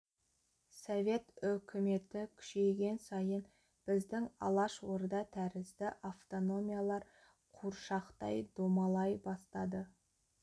совет өкіметі күшейген сайын біздің алаш орда тәрізді автономиялар қуыршақтай домалай бастады